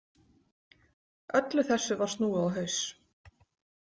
Öllu þessu var snúið á haus.